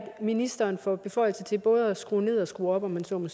ministeren får beføjelse til både at skrue ned og skrue op om man så må